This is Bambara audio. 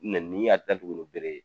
Nenni y'a datugunni bere ye